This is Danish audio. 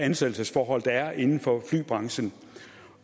af ansættelsesforhold der er inden for flybranchen